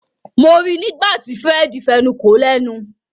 Mo rí nígbàtí Fred fẹnuko lénu.